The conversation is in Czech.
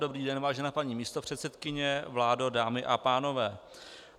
Dobrý den, vážená paní místopředsedkyně, vládo, dámy a pánové.